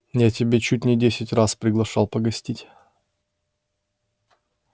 я тебя чуть не десять раз приглашал погостить